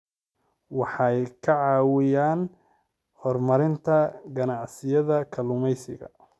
Waxay ka caawiyaan horumarinta ganacsiyada kalluumeysiga.